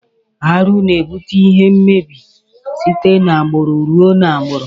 Arụ na ebute ihe mmebi site na agburu rụọ na agburu.